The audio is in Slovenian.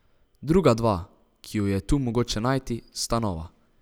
Druga dva, ki ju je tu mogoče najti, sta nova.